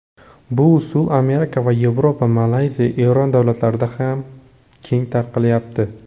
Bu usul Amerika, Yevropa, Malayziya, Eron davlatlarida keng tarqalyapti.